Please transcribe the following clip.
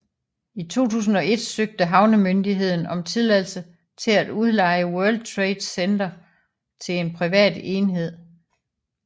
I 2001 søgte havnemyndigheden om tilladelse til at udleje World Trade Center til en privat enhed